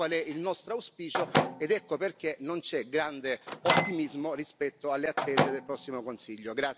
Ecco qual è il nostro auspicio ed ecco perché non c'è grande ottimismo rispetto alle attese del prossimo Consiglio.